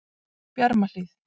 Bjarmahlíð